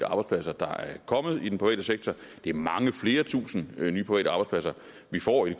arbejdspladser der er kommet i den private sektor det er mange flere tusinde nye private arbejdspladser vi får i